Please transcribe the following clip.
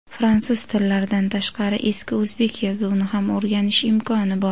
fransuz tillaridan tashqari eski o‘zbek yozuvini ham o‘rganish imkoni bor.